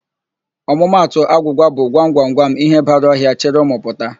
Ọmụmatụ agwụgwa bụ, 'gwam, gwam, gwam ihe bara ọhịa, chịrị ụmụ pụta'.